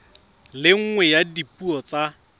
le nngwe ya dipuo tsa